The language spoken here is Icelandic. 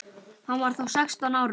Hann var þá sextán ára.